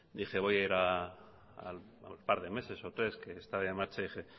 dije voy a ir a un par de meses o tres que está en marcha